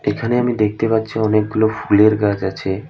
এখানে আমি দেখতে পাচ্ছি অনেকগুলো ফুলের গাছ আছে।